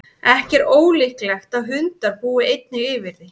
ekki er ólíklegt að hundar búi einnig yfir því